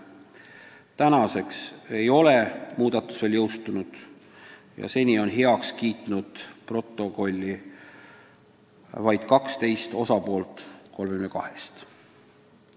Praegu ei ole need meil veel jõustunud ja seni on protokolli muudatused heaks kiitnud vaid 12 protokolli osapoolt 32-st.